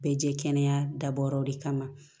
Bɛɛ jɛ kɛnɛya dabɔra de kama